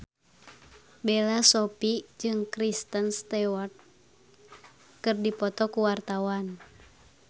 Bella Shofie jeung Kristen Stewart keur dipoto ku wartawan